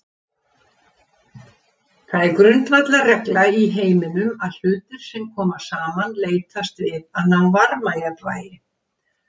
Það er grundvallarregla í heiminum að hlutir sem koma saman leitast við að ná varmajafnvægi.